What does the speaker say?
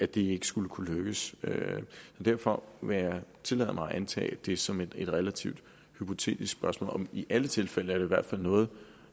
det ikke skulle kunne lykkes derfor vil jeg tillade mig at antage det som et relativt hypotetisk spørgsmål i alle tilfælde er det i hvert fald noget